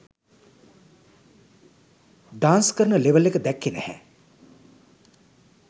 Dance කරන level එක දැක්කේ නැහැ.